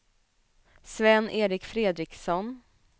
Sven-Erik Fredriksson